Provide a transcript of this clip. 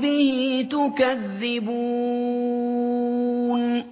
بِهِ تُكَذِّبُونَ